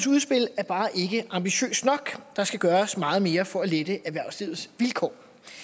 udspil er bare ikke ambitiøst nok der skal gøres meget mere for at lette erhvervslivets vilkår